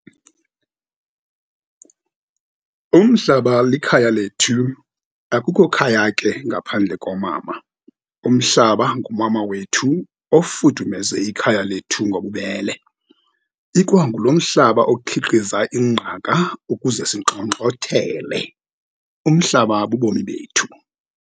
Umhlaba likhaya lethu. Akukho khaya ke ngaphandle komama. Umhlaba ngumama wethu ofudumeza ekhaya lethu ngobubele. Ikwangulo mhlaba okhiqiza ingqaka ukuze singxongxothele. Umhlaba bubomi bethu.